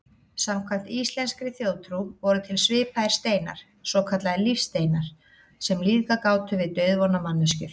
Samkvæmt íslenskri þjóðtrú voru til svipaðir steinar, svokallaðir lífsteinar, sem lífgað gátu við dauðvona manneskjur.